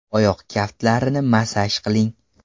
Oyoq kaftlarini massaj qiling.